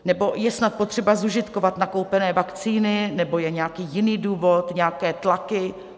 Nebo je snad potřeba zužitkovat nakoupené vakcíny, nebo je nějaký jiný důvod, nějaké tlaky?